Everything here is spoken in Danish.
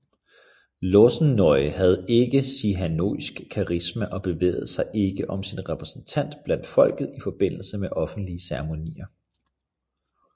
Lossen Nol havde ikke Sihanouks karisma og bevægede sig ikke som sin repræsentant blandt folket i forbindelse med offentlige ceremonier